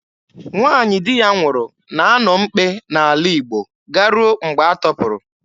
Nwaanyị di ya nwụrụ na-anọ mkpe n'ala Igbo garuo mgbe a tọpụrụ.